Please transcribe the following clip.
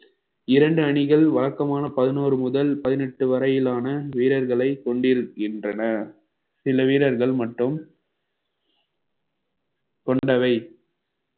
இரண்டு அணிகள் வழக்கமான பதினோரு முதல் பதினெட்டு வரையிலான வீரர்களை கொண்டுருக்கின்றன சில வீரர்கள் மட்டும் கொண்டவை